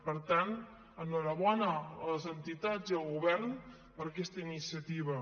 per tant enhorabona a les entitats i al govern per aquesta iniciativa